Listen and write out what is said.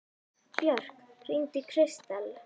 Björk, hringdu í Kristel.